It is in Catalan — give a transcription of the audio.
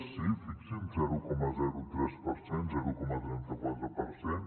sí fixin se zero coma tres per cent zero coma trenta quatre per cent